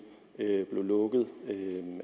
blev lukket